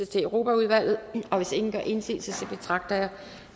til europaudvalget hvis ingen gør indsigelse betragter jeg